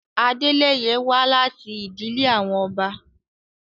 Adeleye wa lati idile awọn ọba